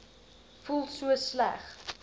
voel so sleg